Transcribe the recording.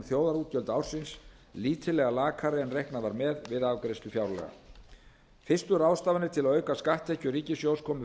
þjóðarútgjöld ársins lítillega lakari en reiknað var með við afgreiðslu fjárlaga fyrstu ráðstafanir til að auka skatttekjur ríkissjóðs komu